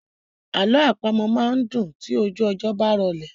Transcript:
Alọ àpamọ máa n dùn tí ojú ọjọ́ bá rọlẹ̀.